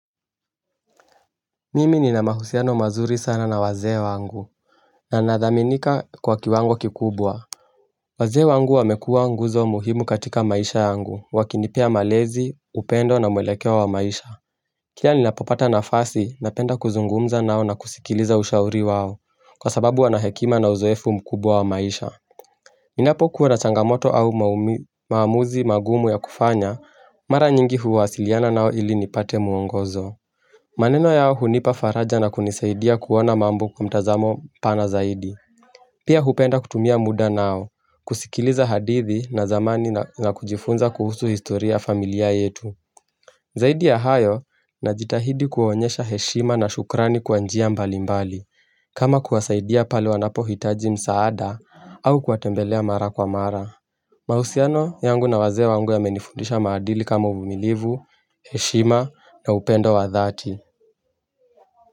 Mimi nina mahusiano mazuri sana na wazee wangu na nathaminika kwa kiwango kikubwa Wazee wangu wamekua nguzo muhimu katika maisha yangu wakinipea malezi upendo na mwelekeo wa maisha Kila ninapopata nafasi napenda kuzungumza nao na kusikiliza ushauri wao kwa sababu wanahekima na uzoefu mkubwa wa maisha Ninapo kuwa na changamoto au maumi maamuzi mangumu ya kufanya mara nyingi huwasiliana nao ili nipate muongozo maneno yao hunipa faraja na kunisaidia kuona mambo kwa mtazamo pana zaidi Pia hupenda kutumia muda nao, kusikiliza hadithi na zamani na na kujifunza kuhusu historia familia yetu Zaidi ya hayo na jitahidi kuonyesha heshima na shukrani kwa njia mbali mbali kama kuwasaidia pale wanapohitaji msaada au kuwatembelea mara kwa mara mahusiano yangu na wazee wangu yamenifundisha maadili kama umilivu, heshima na upendo wa dhati.